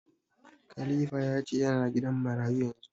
Khalifa ya ce ya na gidan marayu yanzu